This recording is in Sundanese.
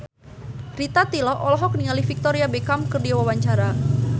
Rita Tila olohok ningali Victoria Beckham keur diwawancara